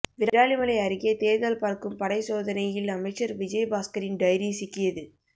விராலிமலை அருகே தேர்தல் பறக்கும் படை சோதனையில் அமைச்சர் விஜயபாஸ்கரின் டைரி சிக்கியது